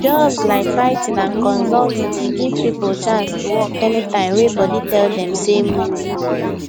jobs like writing and consulting dey give people chance to work anytime wey body tell them say move